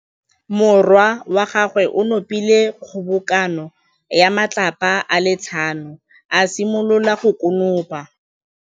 Morwa wa gagwe o nopile kgobokanô ya matlapa a le tlhano, a simolola go konopa.